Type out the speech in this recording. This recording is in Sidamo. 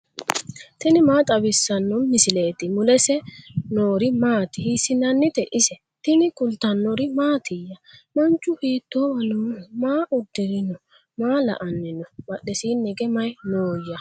tini maa xawissanno misileeti ? mulese noori maati ? hiissinannite ise ? tini kultannori mattiya? Manchu hiittowa nooho? Maa udirinno? maa la'anni noo? badheesiinni hige mayi nooya?